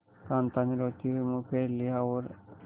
कांता ने रोते हुए मुंह फेर लिया और